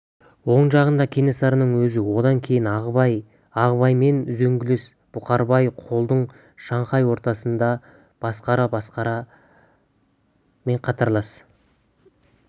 оң жағында кенесарының өзі одан кейін ағыбай ағыбаймен үзеңгілес бұқарбай қолдың шаңқай ортасында басықара басықарамен қатарлас